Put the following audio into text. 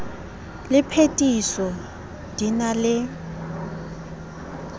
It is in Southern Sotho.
le phethiso di na le